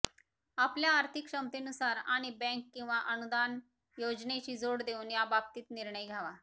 आपल्या आर्थिक क्षमतेनुसार आणि बँक किंवा अनुदान योजनेची जोड देऊन याबाबतीत निर्णय घ्यावा